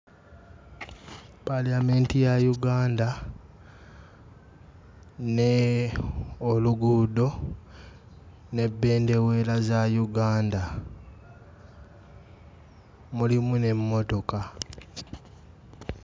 Paaliyamenti ya Uganda ne oluguudo ne bbendeweera za Uganda mulimu n'emmotoka.